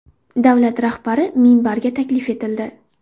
Davlat rahbari minbarga taklif etildi.